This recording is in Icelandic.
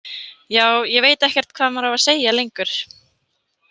Já, ég veit ekkert hvað maður á að segja lengur.